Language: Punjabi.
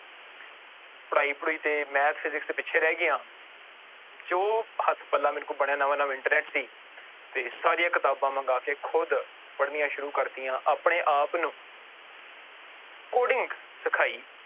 ਪੜ੍ਹਾਈ ਪੜੂਈ ਤੇ Math, Physics ਪਿੱਛੇ ਰਹਿ ਗਿਆ ਜੋ ਹੱਥ ਪੱਲਾ ਮੇਰੇ ਕੋਲ ਬਣਿਆ ਨਵਾਂ ਨਵਾਂ internet ਸੀ ਤੇ ਸਾਰੀਆਂ ਕਿਤਾਬਾਂ ਮੰਗਾ ਕੇ ਖੁੱਦ ਪੜ੍ਹਨੀਆਂ ਸ਼ੁਰੂ ਕਰ ਦਿੱਤੀਆਂ, ਆਪਣੇ ਆਪ ਨੂੰ coding ਸਿਖਾਈ